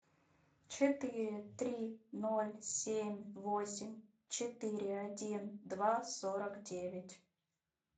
четыре три ноль семь восемь четыре один два сорок девять